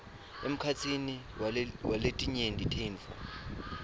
emkhatsini waletinye tintfo